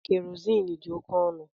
Kerosin dị oke ọnụ